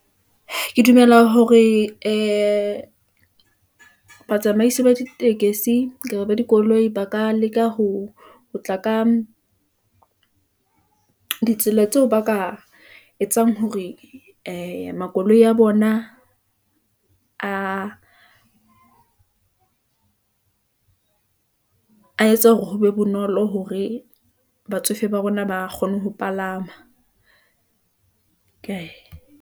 Ke dumela hore ee batsamaisi ba di tekesi, kapa ba dikoloi ba ka leka ho tla ka ditsela tseo ba ka etsang, hore ee makoloi a bona a etsa hore ho be bonolo hore batsofe ba rona ba kgone ho palama kae.